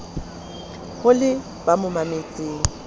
ho le ba mo mametseng